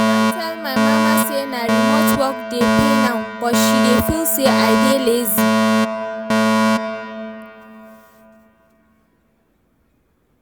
I don tell my mama say na remote work dey pay now but she dey feel say I dey lazy